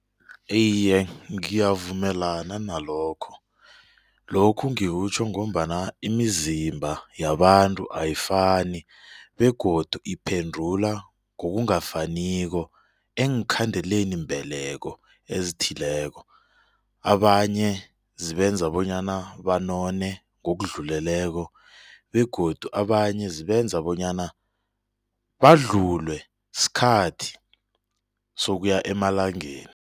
Iye, ngiyavumelana nalokho, lokhu ngikutjho ngombana imizimba yabantu ayifani begodu iphendula ngokungafaniko eenkhandeleni mbeleko ezithileko. Abanye zibenza bonyana banone ngokudluleleko begodu abanye zibenza bonyana badlulwe sikhathi sokuya emalangeni.